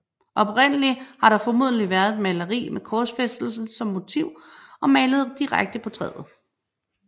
Oprindelig har der formodentlig været et maleri med korsfæstelsen som motiv og malet direkte på træet